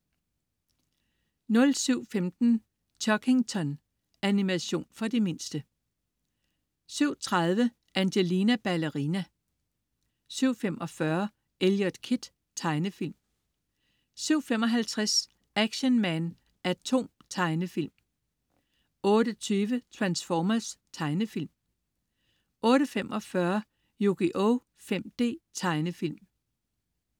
07.15 Chuggington. Animation for de mindste 07.30 Angelina Ballerina 07.45 Eliot Kid. Tegnefilm 07.55 Action Man A.T.O.M. Tegnefilm 08.20 Transformers. Tegnefilm 08.45 Yugioh 5D. Tegnefilm